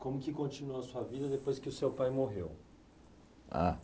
Como que continuou a sua vida depois que o seu pai morreu? Ah